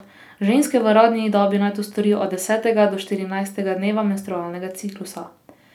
Ženske v rodni dobi naj to storijo od desetega do štirinajstega dneva menstrualnega ciklusa.